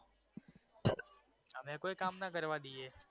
અમે કોઈ કામ ન કરવા દઈએ